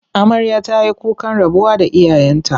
Amarya ta yi kukan rabuwa da iyayenta.